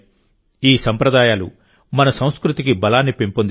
ఈ సంప్రదాయాలు మన సంస్కృతికి బలాన్ని పెంపొందిస్తాయి